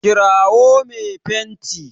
kirawo me fenti!